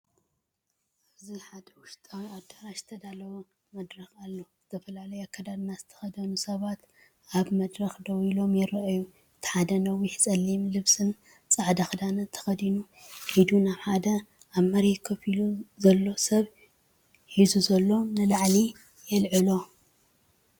ኣብዚ ሓደ ውሽጣዊ ኣዳራሽ ዝተዳለወ መድረኽ ኣሎ። ዝተፈላለየ ኣከዳድና ዝተኸድኑ ሰባት ኣብ መድረኽ ደው ኢሎም ይረኣዩ። እቲ ሓደ ነዊሕ ጸሊም ልብስን ጻዕዳ ክዳንን ተኸዲኑ፡ኢድ ናይ ሓደ ኣብ መሬት ኮፍ ኢሉ ዘሎ ሰብ ሒዙ ንላዕሊ የልዕሎ።